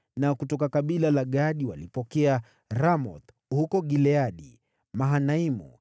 Na kutoka kabila la Gadi walipokea Ramothi huko Gileadi, Mahanaimu,